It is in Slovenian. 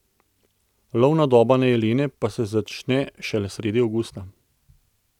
Lovna doba na jelene pa se začne šele sredi avgusta.